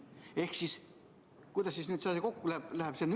Ehk kuidas see kokku läheb?